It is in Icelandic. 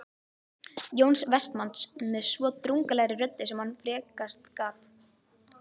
Jóns Vestmanns með svo drungalegri röddu sem hann frekast gat